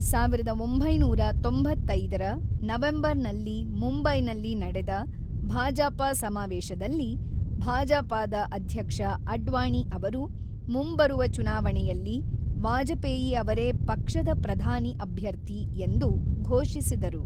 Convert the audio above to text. ೧೯೯೫ರ November ನಲ್ಲಿ ಮುಂಬೈನಲ್ಲಿ ನಡೆದ ಭಾಜಪ ಸಮಾವೇಶದಲ್ಲಿ, ಭಾಜಪದ ಅಧ್ಯಕ್ಷ ಅಡ್ವಾಣಿ ಅವರು ಮುಂಬರುವ ಚುನಾವಣೆಯಲ್ಲಿ ವಾಜಪೇಯಿ ಅವರೇ ಪಕ್ಷದ ಪ್ರಧಾನಿ ಅಭ್ಯರ್ಥಿ ಎಂದು ಘೋಷಿಸಿದರು.